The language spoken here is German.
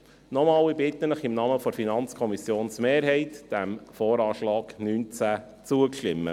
Ich bitte Sie, im Namen der FiKo-Mehrheit, dem VA 2019 zuzustimmen.